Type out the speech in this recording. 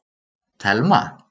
Telma